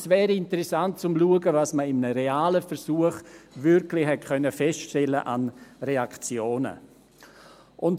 Es wäre interessant zu sehen, was man in einem realen Versuch wirklich an Reaktionen feststellen konnte.